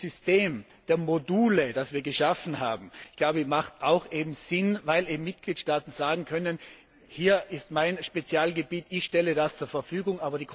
Dieses System der Module, das wir geschaffen haben, macht auch Sinn, weil eben Mitgliedstaaten sagen können Hier ist mein Spezialgebiet, ich stelle das zur Verfügung.